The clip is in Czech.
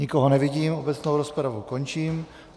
Nikoho nevidím, obecnou rozpravu končím.